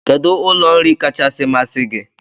Kedụ ụlọ nri kachasị masị gi?